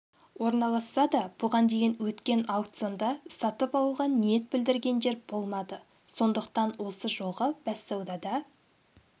орналасса да бұған дейін өткен аукционда сатып алуға ниет білдіргендер болмады сондықтан осы жолғы бәссаудада